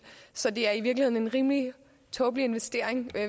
så det er i virkeligheden en rimelig tåbelig investering